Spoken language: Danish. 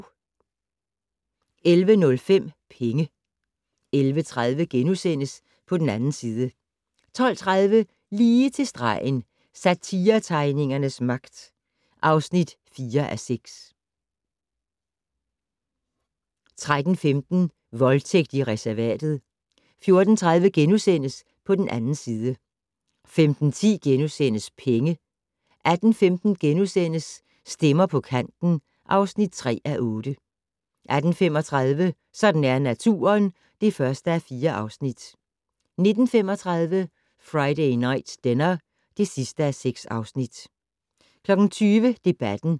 11:05: Penge 11:30: På den 2. side * 12:30: Lige til stregen - Satiretegningernes magt (4:6) 13:15: Voldtægt i reservatet 14:30: På den 2. side * 15:10: Penge * 18:15: Stemmer på kanten (3:8)* 18:35: Sådan er naturen (1:4) 19:35: Friday Night Dinner (6:6) 20:00: Debatten